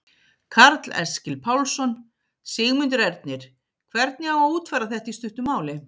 Karl Eskil Pálsson: Sigmundur Ernir, hvernig á að útfæra þetta í stuttu máli?